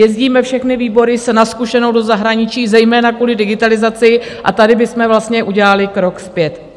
Jezdíme všechny výbory na zkušenou do zahraničí zejména kvůli digitalizaci a tady bychom vlastně udělali krok zpět.